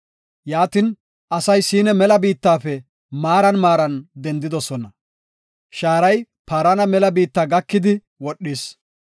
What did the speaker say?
Yaatin asay Siina mela biittafe maaran maaran dendidosona; shaaray Paarana mela biitta gakidi wodhis.